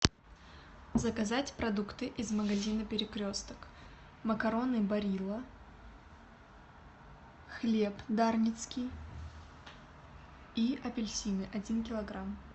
заказать продукты из магазина перекресток макароны барилла хлеб дарницкий и апельсины один килограмм